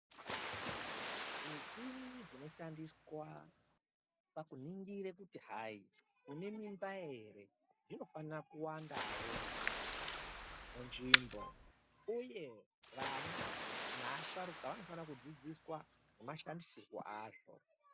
Zvimichini zvinoshandiswa pakuningira kuti hai une mimba ere, zvinofanira kuwandawo munzvimbo uye vana naasharuka vanofanira kudzidziswa nemashandisirwo azvo.